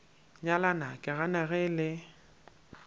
nyalana ke gana ge le